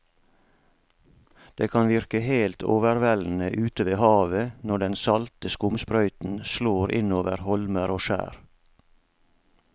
Det kan virke helt overveldende ute ved havet når den salte skumsprøyten slår innover holmer og skjær.